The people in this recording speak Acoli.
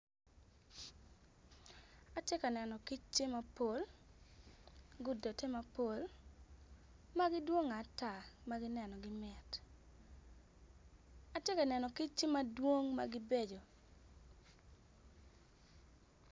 Atye ka neno kic tye mapol gudode mapol ma gidwongo ata ma nenogi mit atye ka neno kic dwong ma gibeco.